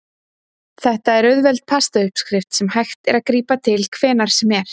Þetta er auðveld pasta uppskrift sem hægt er að grípa til hvenær sem er.